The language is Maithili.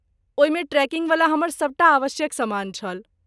ओहिमे ट्रेकिंगवला हमर सभटा आवश्यक सामान छल।